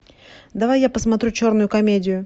давай я посмотрю черную комедию